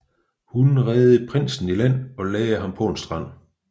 Hun reddede prinsen i land og lagde ham på en strand